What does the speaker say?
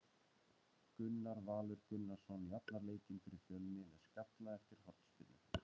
Gunnar Valur Gunnarsson jafnar leikinn fyrir Fjölni með skalla eftir hornspyrnu.